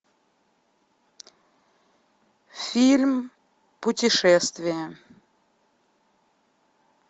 фильм путешествие